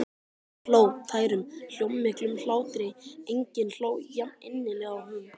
Hún hló, tærum, hljómmiklum hlátri, enginn hló jafninnilega og hún.